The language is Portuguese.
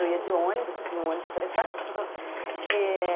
Eu ia de ônibus, vinha um ônibus fretando é...